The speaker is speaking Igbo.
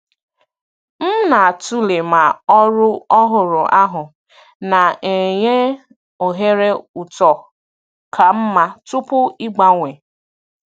M na-atụle ma ọrụ ọhụrụ ahụ na-enye ohere uto ka mma tupu ịgbanwee.